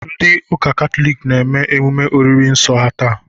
Ndị ụka Katọlik na-eme emume oriri nsọ ha taa.